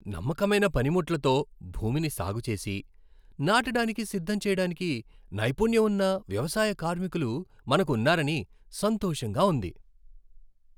నమ్మకమైన పనిముట్లతో భూమిని సాగు చేసి, నాటడానికి సిద్ధం చేయడానికి నైపుణ్యం ఉన్న వ్యవసాయ కార్మికులు మనకు ఉన్నారని సంతోషంగా ఉంది.